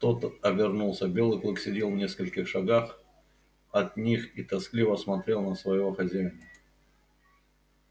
тот обернулся белый клык сидел в нескольких шагах от них и тоскливо смотрел на своего хозяина